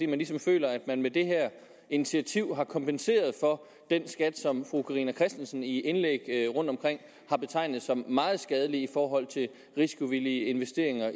man ligesom føler at man med det her initiativ har kompenseret for den skat som fru carina christensen i indlæg rundt omkring har betegnet som meget skadelig i forhold til risikovillige investeringer